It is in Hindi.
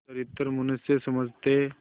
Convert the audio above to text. सच्चरित्र मनुष्य समझते